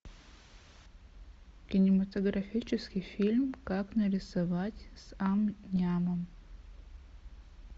кинематографический фильм как нарисовать с ам нямом